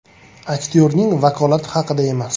Aktyorning vakolati haqida emas.